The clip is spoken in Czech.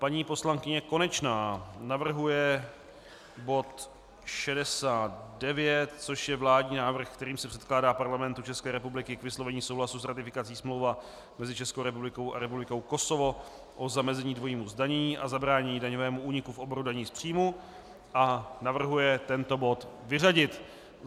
Paní poslankyně Konečná navrhuje bod 69, což je vládní návrh, kterým se předkládá Parlamentu České republiky k vyslovení souhlasu s ratifikací Smlouva mezi Českou republikou a Republikou Kosovo o zamezení dvojímu zdanění a zabránění daňovému úniku v oboru daní z příjmů, a navrhuje tento bod vyřadit.